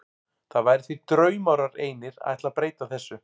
Það væri því draumórar einir að ætla að breyta þessu.